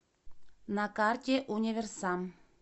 на карте универсам